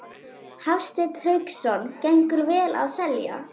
Hafsteinn Hauksson: Gengur vel að selja?